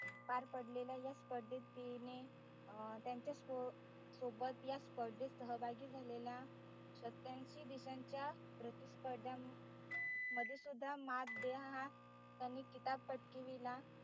पार पडलेल्या या स्पर्धेत तिने त्यांच्या सोबत या स्पर्धेत सहभागी झालेल्या सत्यांशी देशाच्या स्पर्धामध्ये सुद्धा मत देहा त्यानी किताब पटकाविला